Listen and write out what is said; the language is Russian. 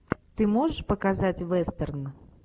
ты можешь показать вестерн